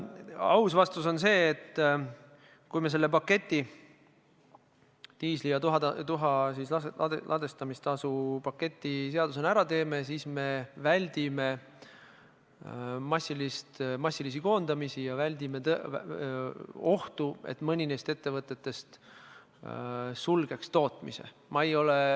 Aus vastus on see, et kui me selle paketi, diislikütust ja tuha ladestamise tasu puudutava paketi seadusena jõustame, siis me väldime massilisi koondamisi ja väldime ohtu, et mõni neist ettevõtetest sulgeks tootmise.